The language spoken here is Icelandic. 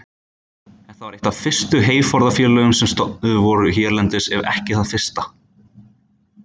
Þetta var eitt af fyrstu heyforðafélögum sem stofnuð voru hérlendis ef ekki það fyrsta.